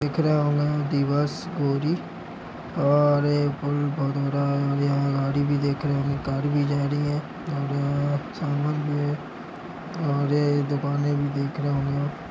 दिख रहे होंगे दिवस और ये पुल बहुत बड़ा और यहाँ गाड़ी भी देख रहे होंगे कार भी जा रही है और अ समान भी है और यह दुकाने भी दिख रहे होंगे आप।